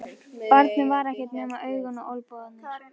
Barnið var ekkert nema augun og olnbogarnir.